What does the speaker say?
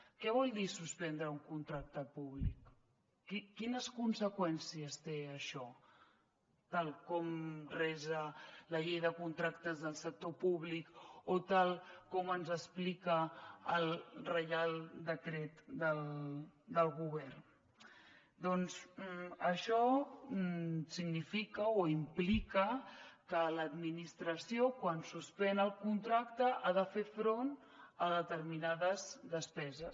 què vol dir suspendre un contracte públic quines conseqüències té això tal com resa la llei de contractes del sector públic o tal com ens explica el reial decret del govern doncs això significa o implica que l’administració quan suspèn el contracte ha de fer front a determinades despeses